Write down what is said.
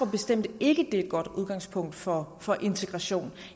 bestemt ikke at det er et godt udgangspunkt for for integration